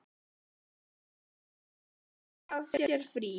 Börnin veikjast og þá þarf að taka sér frí.